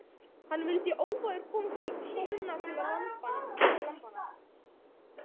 Hann vildi óvægur komast inn í króna til lambanna.